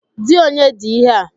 Di onye di ihe a?